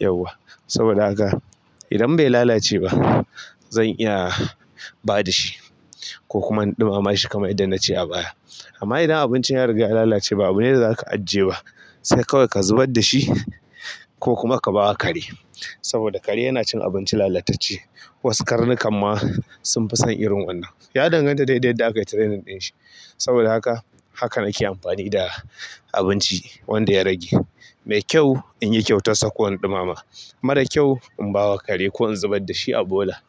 Yauwa. Saboda haka idan bai lalace ba zan iya ba da shi ko kuma in ɗumama shi kamar idan na ce a baya. Amma idan abincin ya riga ya lalace ba abu ne da za ka ajiye ba, sai kawai ka zubar da shi ko kuma ka bawa kare. Saboda kare yana cin abinci lalatacce. Wasu karnukan ma sun fi son irin wannan. Ya danganta daidai da akayi training ɗin shi. Saboda haka, haka nake amfani da abinci wanda ya rage. Mai kyau in yi kyautar sako in ɗumama. Mara kyau in bawa kare ko in zubar da shi a bola.